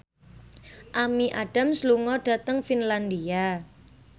Amy Adams lunga dhateng Finlandia